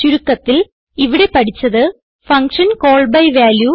ചുരുക്കത്തിൽ ഇവിടെ പഠിച്ചത് ഫങ്ഷൻ കോൾ ബി വാല്യൂ